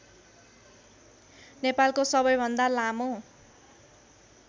नेपालको सबैभन्दा लामो